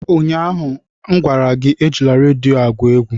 ụnyaahụ m gwara gị, ejila redio a egwu egwu!